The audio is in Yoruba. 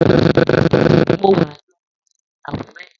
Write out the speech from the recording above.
Mọ wà lóno sí Akure.